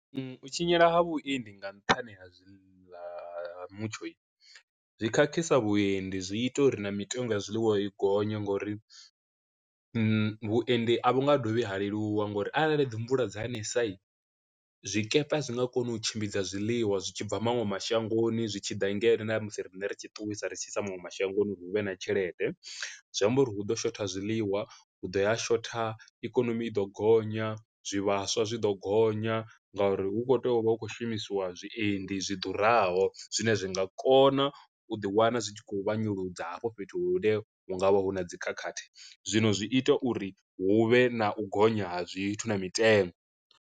U tshinyala ha vhuendi nga nṱhani ha zwiḽa mutshohi, zwi khakhisa vhuendi zwi ita uri na mitengo ya zwiḽiwa i gonya nga uri vhuendi vhu nga dovhi ha leluwa ngauri arali dzi mvula dza ṋesa i zwikepe zwi nga kona u tshimbidza zwiḽiwa zwi tshi bva maṅwe mashangoni zwi tshi ḓa ngeno ṋa musi riṋe ri tshi ṱuwisa ri tshi sa maṅwe mashangoni uri hu vhe na tshelede, zwi amba uri hu ḓo shotha zwiḽiwa hu ḓo ya shotha ikonomi i ḓo gonya, zwivhaswa zwi ḓo gonya, nga uri hu kho tea u vha hu khou shumisiwa zwiendi zwi ḓuraho zwine zwi nga kona u ḓi wana zwi tshi khou vhanyuludza hafho fhethu hu ne hungavha hu na dzi khakhathi. Zwino zwi ita uri hu vhe na u gonya ha zwithu na mitengo.